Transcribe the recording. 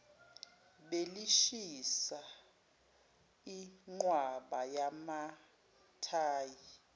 belishisa ingqwaba yamathayi